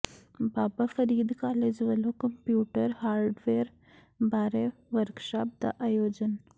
ਬਾਬਾ Farid college ਵੱਲੋਂ computer hardware ਬਾਰੇ workshop ਦਾ ਆਯੋਜਨ